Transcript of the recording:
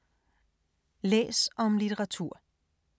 Læs om litteratur